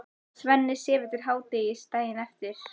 Svenni sefur til hádegis daginn eftir.